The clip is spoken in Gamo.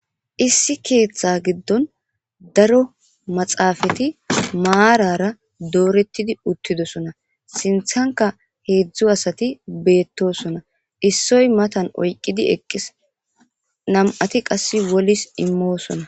issi keeththe giddon daro maxaafati maarara doorettidi uttidosona sinthanka heedzdzu asati beettosona issoy matan oyqqidi eqqis nam7ati qasse wolis immoosona